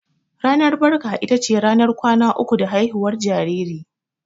Ranar barka ita ce ranar kwana uku da haihuwar jariri.